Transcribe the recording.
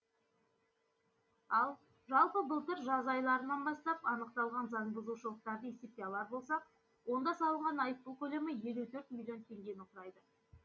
ал жалпы былтыр жаз айларынан бастап анықталған заңбұзушылықтарды есепке алар болсақ онда салынған айыппұл көлемі елу төрт миллион теңгені құрайды